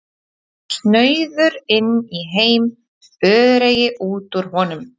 Snauður inn í heim, öreigi út úr honum.